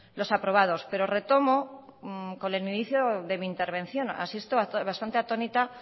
los aprobados pero retomo con el inicio de mi intervención asisto bastante atónita